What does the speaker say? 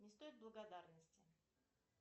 не стоит благодарности